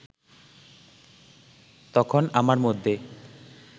তখন আমার মধ্যে